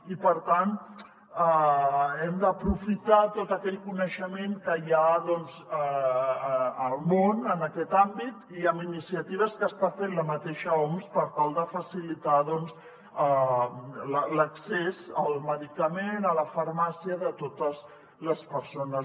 i per tant hem d’aprofitar tot aquell coneixement que hi ha al món en aquest àmbit i amb iniciatives que està fent la mateixa oms per tal de facilitar l’accés al medicament a la farmàcia de totes les persones